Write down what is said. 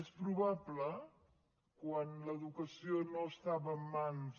és probable quan l’educació no estava en mans